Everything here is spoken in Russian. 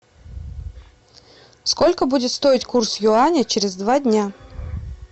сколько будет стоить курс юаня через два дня